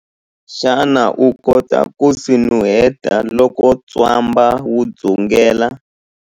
Xana u kota ku swi nuheta loko ntswamba wu dzungela?